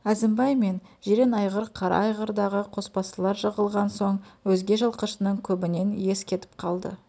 әзімбай мен жирен айғыр қара айғырдағы қосбасылар жығылған соң өзге жылқышының көбінен ес кетіп қалды